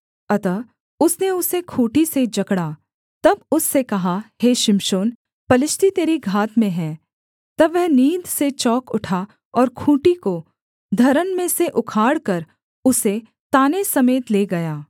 अतः उसने उसे खूँटी से जकड़ा तब उससे कहा हे शिमशोन पलिश्ती तेरी घात में हैं तब वह नींद से चौंक उठा और खूँटी को धरन में से उखाड़कर उसे ताने समेत ले गया